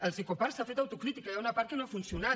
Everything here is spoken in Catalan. als ecoparcs s’ha fet autocrítica hi ha una part que no ha funcionat